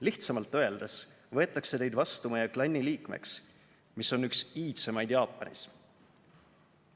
Lihtsamalt öeldes võetakse teid vastu meie klanni liikmeks, mis on üks iidsemaid Jaapanis.